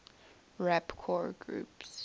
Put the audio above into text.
rapcore groups